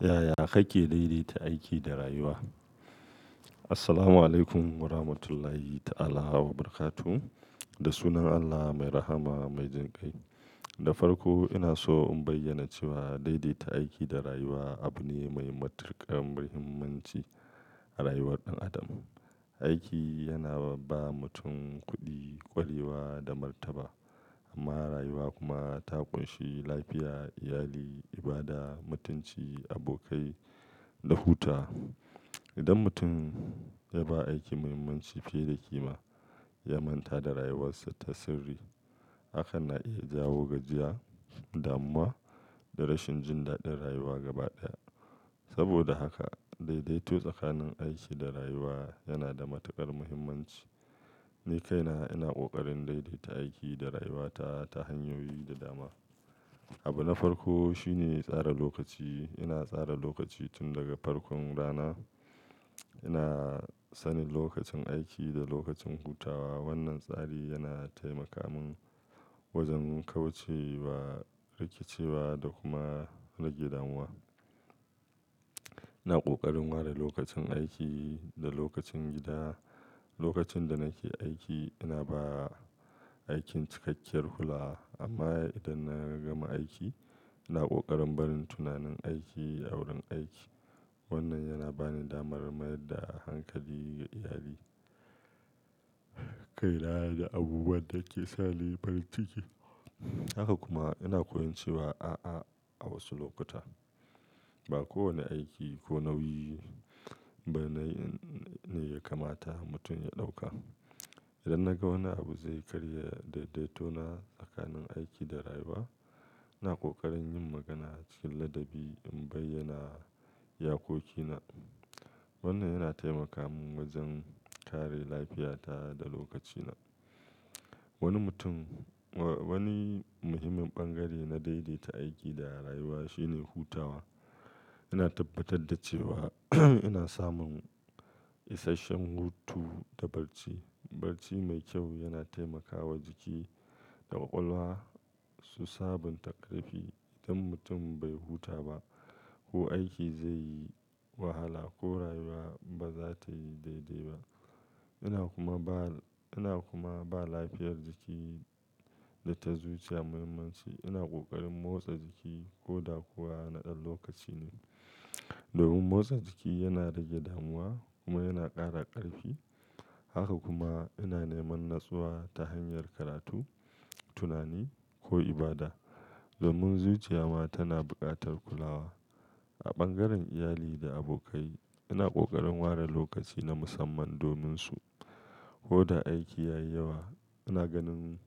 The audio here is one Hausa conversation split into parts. Yaya kake daidaita aiki da rayuwa? Assalamualaikum waramatullahi ta'alla barakatu. Da sunan Allah mai rahama, mai jinkai. Da farko ina so in bayyana cewa daidaita aiki da rayuwa abu ne mai matuƙar muhimmanci a rayuwar ɗan adam. Aiki yana ba mutum kuɗi, ƙwarewa da martaba. Amma rayuwa kuma ta ƙunshi lafiya, iyali, ibada, mutunci, abokai da huta. Idan mutum ya ba aiki mahimmanci fiye da kima, ya manta da rayuwarsa ta sirri hakan na iya jawo gajiya damuwa da rashin jin dadin rayuwa gaba daya saboda haka, daidaito tsakanin aiki da rayuwa yana da matuƙar muhimmanci. Ni kaina ina ƙoƙarin daidaita aiki da rayuwata ta hanyoyi da dama. Abu na farko shine tsara lokaci. Ina tsara lokaci tun daga farkon rana. Ina sanin lokacin aiki da lokacin hutawa. Wannan tsari yana taimaka mun wajen kauce wa rikicewa da kuma rage damuwa. Ina ƙoƙarin ware lokacin aiki da lokacin gida. Lokacin da nake aiki ina ba aikin cikakkiyar kulawa. Amma idan na gama aiki, ina ƙoƙarin barin tunanin aiki a wurin aiki. Wannan yana ba ni damar mayar da hankali ga iyali, kaina da abubuwan da ke sa ni farin ciki. Haka kuma ina koyon cewa a'a a wasu lokuta. Ba kowane aiki ko nauyi ba ne ya kamata mutum ya ɗauka. Idan na ga wani abu zai karya daidaitona tsakanin aiki da rayuwa, ina ƙoƙarin yin magana cikin ladabi in bayyana iyakokina. Wannan yana taimaka mun wajen kare lafiyata da lokacina. Wani mutum-- wani muhimmin bangare na daidaita aiki da rayuwa shine hutawa. Ina tabbatar da cewa ina samun isasshen hutu da barci. Barci mai kyau yana taimakawa jiki da ƙwaƙwalwa su sabunta ƙarfi. Idan mutum bai huta ba ko aiki zai yi wahala ko rayuwa ba za ta yi daidai ba. Ina kuma ba, ina kuma ba lafiyar jiki da ta zuciya muhimmanci. Ina ƙoƙarin motsa jiki ko da kuwa na ɗan lokaci ne. Domin motsa jiki yana rage damuwa kuma yana ƙara ƙarfi. Haka kuma ina neman natsuwa ta hanyar karatu, tunani ko ibada. Domin zuciya ma tana buƙatar kulawa. A bangaren iyali da abokai, ina ƙoƙarin ware lokaci na musamman domin su. Ko da aiki yayi yawa, ina ganin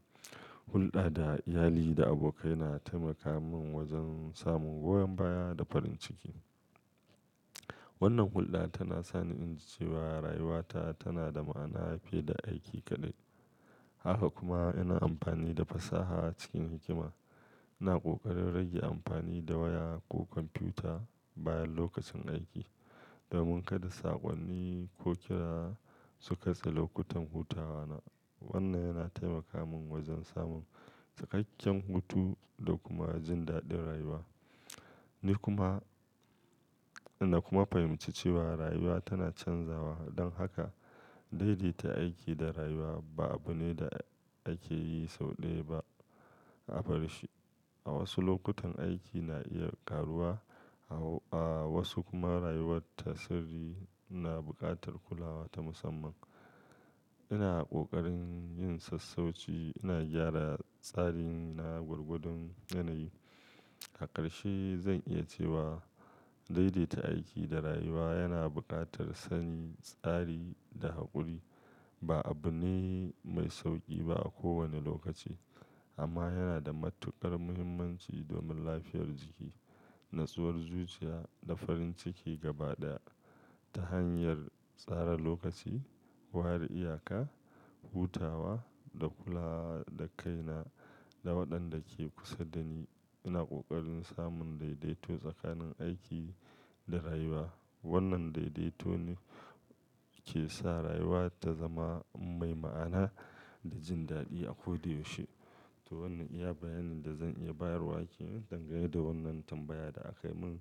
hulɗa da iyali da abokai yana taimaka mun wajen samun goyon baya da farin ciki. Wannan hulɗa tana sani in ji cewa rayuwata tana da ma'ana fiye da aiki kaɗai. Haka kuma ina amfani da fasaha cikin hikima. Ina ƙoƙarin rage amfani da waya ko kwamfuta bayan lokacin aiki, domin kada saƙonni ko kira su kashe lokutan hutawa na. Wannan yana taimaka mun wajen samun cikakken hutu da kuma jin daɗin rayuwa. Ni kuma, ina kuma fahimci cewa rayuwa tana canzawa. Don haka, daidaita aiki da rayuwa ba abu ne da ake yi sau ɗaya ba a barshi. A wasu lokutan aiki na iya ƙaruwa, a wasu kuma rayuwar ta sirri na buƙatar kulawa ta musamman. Ina ƙoƙarin yin sassauci, ina gyara tsarin na gwargwadon yanayi. A ƙarshe, zan iya cewa daidaita aiki da rayuwa yana buƙatar sani, tsari da haƙuri. Ba abu ne mai sauƙi ba a kowane lokaci, amma yana da matuƙar muhimmanci domin lafiyar jiki, natsuwar zuciya da farin ciki gaba ɗaya. Ta hanyar tsara lokaci, ware iyaka, hutawa da kulawa da kaina da waɗanda ke kusa da ni, ina ƙoƙarin samun daidaito tsakanin aiki da rayuwa. Wannan daidaito ne ke sa rayuwa ta zama mai ma'ana da jin daɗi a ko da yaushe. To wannan iya bayanin da zan iya bayarwa kenan dangane da wannan tambaya da aka min.